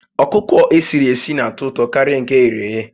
Ọkụkọ esiri esi n'atọ ụtọ karịa nke e ghere éghé